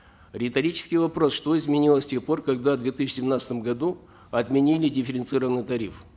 риторический вопрос что изменилось с тех пор когда в две тысячи семнадцатом году отменили дифференцированный тариф